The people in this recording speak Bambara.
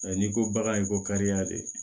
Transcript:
N'i ko bagan in ko ka diya de